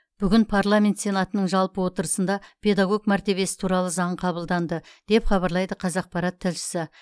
бүгін парламент сенатының жалпы отырысында педагог мәртебесі туралы заң қабылданды деп хабарлайды қазақпарат тілшісі